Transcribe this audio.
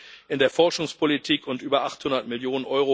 Euro in der Forschungspolitik und über 800 Mio.